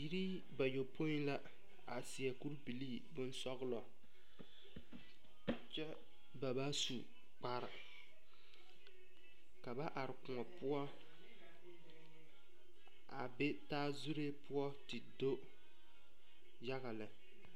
Biiri bayɔpoi la seɛ kuri bilii boŋsɔglɔ kyɛ ka ba su kpare ka ba are koɔ poɔ a be taa zuree poɔ te do yaga lɛ.